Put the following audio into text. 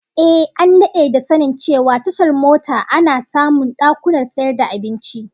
Ehh, an dade da sanin cewa tashar mota ana samun dakunan sayar da abinci